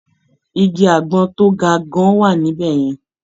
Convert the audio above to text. Igi àgbọn tó ga gan-an wà níbẹ̀ yẹn.